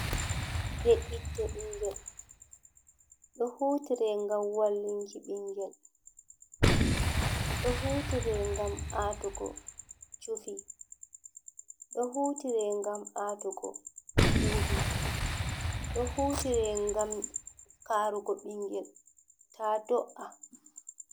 Be'itte ɓingel ɗo hutire ngam wallinki ɓingel, ɗo hutire ngam atugo cufi, ɗo hutire ngam atugo bubi, hutire ngam karugo bingel ta do'a.